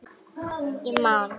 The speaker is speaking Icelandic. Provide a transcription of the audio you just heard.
Ég man.